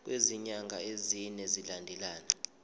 kwezinyanga ezine zilandelana